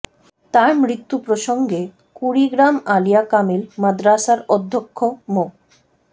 তার মৃত্যু প্রসঙ্গে কুড়িগ্রাম আলিয়া কামিল মাদ্রাসার অধ্যক্ষ মো